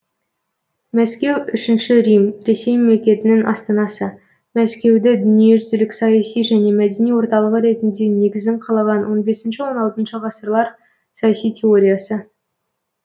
мәскеу үшінші рим ресей мемлекетінің астанасы мәскеуді дүниежүзілік саяси және мәдени орталығы ретінде негізін қалаған он бесінші он алтыншы ғасырлар саяси теориясы